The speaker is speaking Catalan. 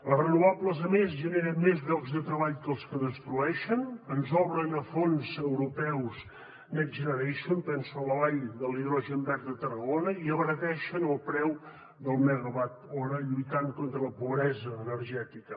les renovables a més generen més llocs de treball que els que destrueixen ens obren a fons europeus next generation penso en la vall de l’hidrogen verd a tarragona i abarateixen el preu del megawatt hora lluitant contra la pobresa energètica